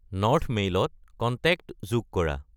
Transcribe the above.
north মেইলত contact যোগ কৰা